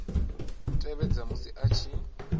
tevhedza musi a tshi ita